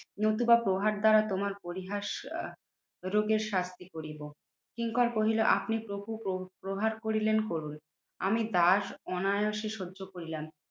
নতুবা প্রহার দ্বারা তোমার পরিহাস আহ রোগের শ্রাদ্ধি করিব। কিঙ্কর কহিল, আপনি প্রভু প্র প্রহার করিলেন করুন, আমি দাস অনায়াসে সহ্য করিলাম।